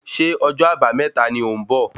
Ṣé ọjọ́ àbámẹ́ta ni ò ń bọ̀?